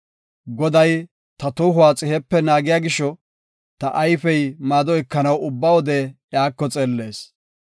Goday ta tohuwa xihepe naagiya gisho, ta ayfey maado ekanaw ubba wode iyako xeellees.